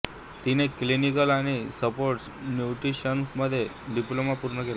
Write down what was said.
तिने क्लिनिकल आणि स्पोर्ट्स न्यूट्रिशनमध्ये डिप्लोमा पूर्ण केला